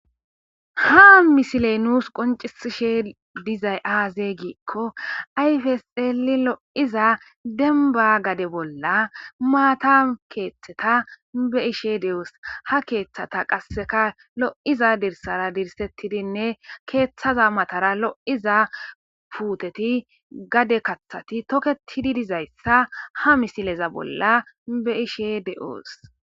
Ha misiley nuus qoncisishe dizay aaze giikko ayfeseli lo'iza denba gade bolla maata keeththeta be ishe de7oos ha keeththata qasseka lo'iza dirsara dirsettidinne keeththaza matara lo'iza puuteti gade kathati toketidi dizayssa ha misileza bolla be ishe de'oos.